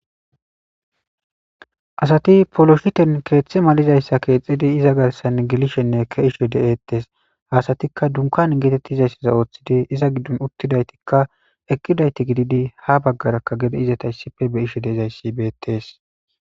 asati poloshiten keeththe malizayssa keexxidi iza garsan gelishenne ke'ishe de'eettes hasatikka dunkan geetettizayssaza ooththidi iza giddon uttidaytikka eqqidayti gididi ha baggarakka gede izeta issippe be'ishe de'izayssi beettees